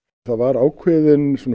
það var ákveðin